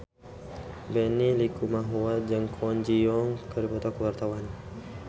Benny Likumahua jeung Kwon Ji Yong keur dipoto ku wartawan